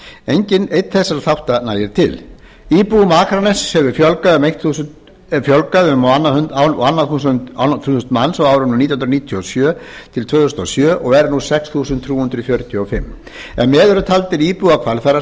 enginn einn þessara þátta nægir til íbúum akraness hefur fjölgað um á annað þúsund manns á árunum nítján hundruð níutíu og sjö tvö þúsund og sjö og eru nú um sex þúsund þrjú hundruð fjörutíu og fimm ef með eru taldir íbúar